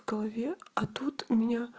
в голове а тут у меня